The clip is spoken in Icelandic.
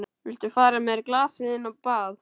Viltu færa mér glasið inn á bað?